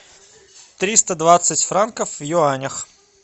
триста двадцать франков в юанях